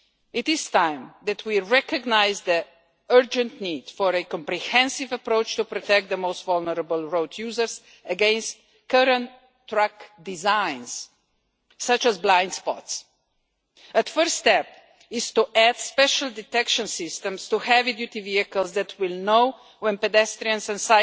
It is time that we recognise the urgent need for a comprehensive approach to protect the most vulnerable road users against current truck designs, such as blind spots. A first step is to add special detection systems to heavy duty vehicles that will know when pedestrians